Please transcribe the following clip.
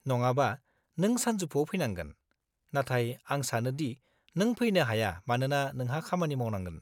नङाबा, नों सानजौफुआव फैनांगोन, नाथाय आं सानो दि नों फैनो हाया मानोना नोंहा खामानि मावनांगोन।